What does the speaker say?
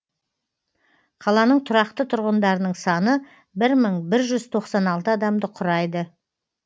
қаланың тұрақты тұрғындарының саны бір мың бір жүз тоқсан алты адамды құрайды